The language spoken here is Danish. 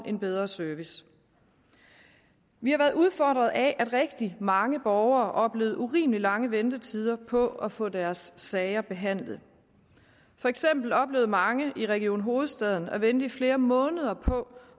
en bedre service vi har været udfordret af at rigtig mange borgere oplevede urimelig lange ventetider på at få deres sager behandlet for eksempel oplevede mange i region hovedstaden at vente i flere måneder på